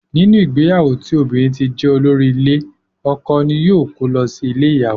Nínú ìgbéyàwó tí obìnrin ti jé olórí ile, ọkọ ní yóò ko lọ sí ilé ìyàwó.